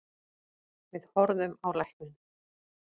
Við horfðum á lækninn.